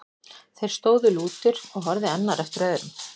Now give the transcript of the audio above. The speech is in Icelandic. Þeir stóðu lútir og horfði annar eftir öðrum.